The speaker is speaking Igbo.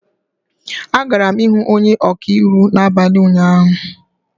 Agara m ihụ onye ọka iwu n'abalị ụnyaahụ